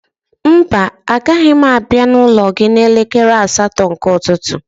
Mba, agaghị m abịa n'ụlọ gị n'elekere asatọ nke ụtụtụ